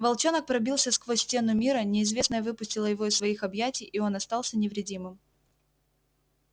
волчонок пробился сквозь стену мира неизвестное выпустило его из своих объятий и он остался невредимым